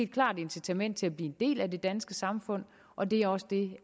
klart incitament til at blive en del af det danske samfund og det er også det